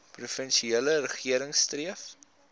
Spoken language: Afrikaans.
provinsiale regering streef